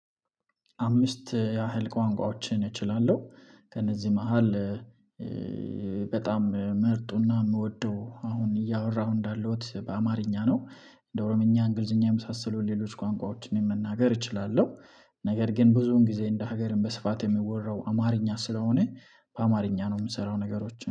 አምስት ያህል ቋንቋዎችን እችላለሁ ከእነዚህ መሃል በጣም ምርጡና የምወደው አሁን እያወራሁ እንዳለሁት በአማርኛ ነው። እንደ ኦሮምኛ እንግሊዘኛ የመሳሰሉ ሌሎች ቋንቋዎችን መናገር እችላለሁ። ነገር ግን ብዙን ጊዜ እንደ ሀገርም በስፋት የሚወራው አማርኛ ስለሆነ በአማርኛ ነው የምሰራው ነገሮች